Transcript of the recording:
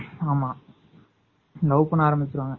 ஆமா love பண்ண ஆரம்பிச்சுருவாங்க